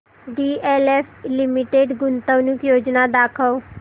DLF limited गुंतवणूक योजना दाखव